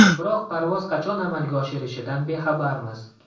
Biroq parvoz qachon amalga oshirishidan bexabarmiz.